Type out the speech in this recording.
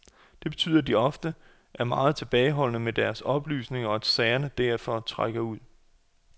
Det betyder, at de ofte er meget tilbageholdende med deres oplysninger, og at sagerne derfor trækker ud.